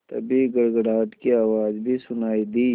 तभी गड़गड़ाहट की आवाज़ भी सुनाई दी